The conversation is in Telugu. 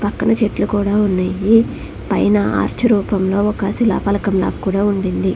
పక్కన చెట్లు కూడా ఉన్నాయి. పైన ఆర్చ్ రూపంలో ఒక శిలాఫలకం లాగా కూడా ఉండింది.